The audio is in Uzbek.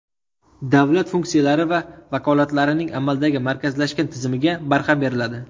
Davlat funksiyalari va vakolatlarining amaldagi markazlashgan tizimiga barham beriladi.